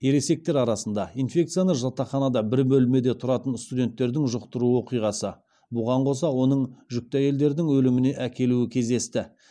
ересектер арасында инфекцияны жатақханада бір бөлмеде тұратын студенттердің жұқтыру оқиғасы бұған қоса оның жүкті әйелдердің өліміне әкелуі кездесті